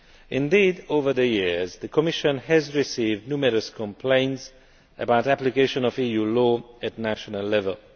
Indeed, over the years, the Commission has received numerous complaints about the application of EU law at national level.